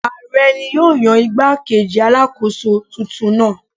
Ààrẹ ni yóò yan igbá-kejì Alákóso tuntun náà.